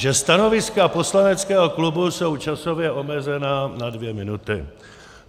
Že stanoviska poslaneckého klubu jsou časově omezena na dvě minuty.